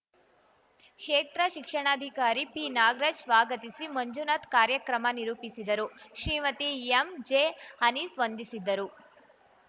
ಕ್ಷೇತ್ರ ಶಿಕ್ಷಣಾಧಿಕಾರಿ ಪಿನಾಗರಾಜ್‌ ಸ್ವಾಗತಿಸಿ ಮಂಜುನಾಥ್‌ ಕಾರ್ಯಕ್ರಮ ನಿರೂಪಿಸಿದರು ಶ್ರೀಮತಿ ಎಂಜೆ ಆನೀಸ್‌ ವಂದಿಸಿದ್ದರು